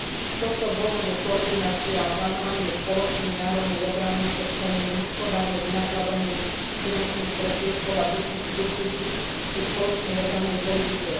Z tohto dôvodu koordinácia a plánovanie spoločnej národnej obrany, odstránenie, hospodárne vynakladanie finančných prostriedkov a duplicít pri spoločnej obrannej politike.